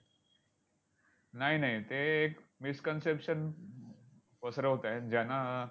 नाय नाय, ते एक miss conception पसरवतायत, ज्यांना